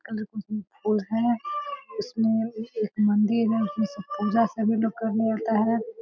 इसमे एए एक मंदिर है इसमे सब पूजा सभी लोग करने अता है।